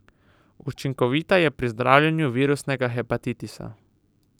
Učinkovita je pri zdravljenju virusnega hepatitisa.